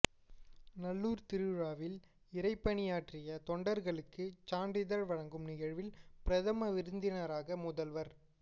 நல்லூர் திருவிழாவில் இறைபணியாற்றிய தொண்டர்களுக்கு சான்றிதழ் வழங்கும் நிகழ்வில் பிரதம விருந்தினராக முதல்வர்